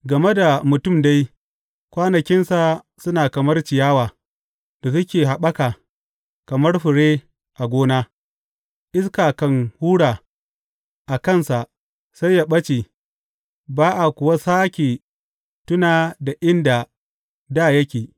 Game da mutum dai, kwanakinsa suna kamar ciyawa da suke haɓaka kamar fure a gona; iska kan hura a kansa sai ya ɓace ba a kuwa sāke tuna da inda dā yake.